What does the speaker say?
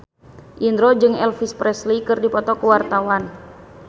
Indro jeung Elvis Presley keur dipoto ku wartawan